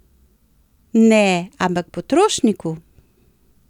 Ne, ampak potrošniku!